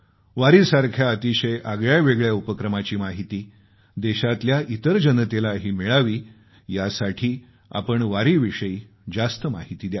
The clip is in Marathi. वारीसारख्या अतिशय आगळ्यावेगळ्या उपक्रमाची माहिती देशातल्या इतर जनतेलाही मिळावी यासाठी आपण वारीविषयी जास्त माहिती द्यावी